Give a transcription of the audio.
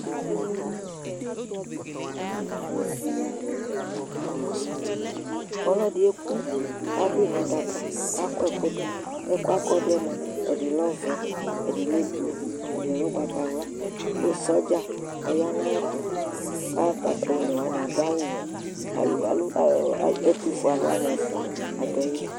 ɔlɔdi ɛkʋ kʋ adʋi nʋ adaka kʋ akɔ ɛkʋ dʋ ɛkʋɛ kɔ akɔdʋɛ mʋa ɛdi lɛ ɔvɛ ɛdi lɛ blʋe, ɛdi lɛ ɔgbatawla kʋ soldier ɔya nʋ ayɛtʋ kʋ ɔnɛ wani adʋawʋwɛ, ɛtʋƒʋɛ alʋwani ɛƒʋa adʋaili